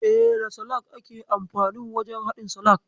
E, da salak ake amfanin wajen haɗin salak.